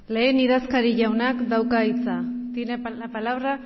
lehen idazkari jaunak dauka hitza tiene la palabra